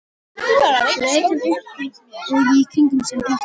Svo leit hann upp og í kringum sig og glotti.